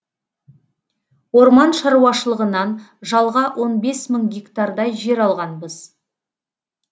орман шаруашылығынан жалға он бес мың гектардай жер алғанбыз